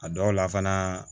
A dɔw la fana